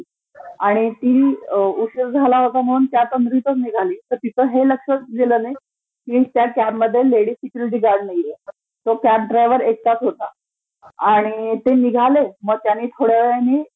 आणि ती उशीर झाला होता म्ङणून त्या तंद्रीतचं निघाली, तर तिचं हे लक्षचं गेलं नाही की त्या कॅबमध्ये लेडी सिक्युरीटी गार्ड नाहीये, तो कॅब ड्रायव्हर एकटाचं होता, आणि ते निघाले मग त्यानी थोड्या वेळानी